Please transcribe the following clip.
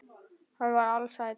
Hann var ALSÆLL.